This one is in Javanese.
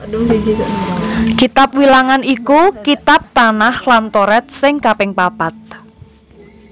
Kitab Wilangan iku kitab Tanakh lan Toret sing kaping papat